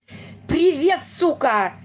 привет сука